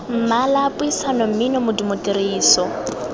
mmala puisano mmino modumo tiriso